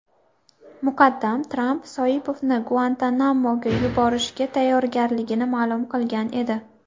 Muqaddam Tramp Soipovni Guantanamoga yuborishga tayyorligini ma’lum qilgan edi .